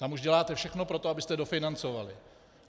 Tam už děláte všechno pro to, abyste dofinancovali.